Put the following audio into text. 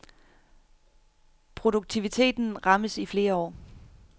Produktiviteten rammes i flere år.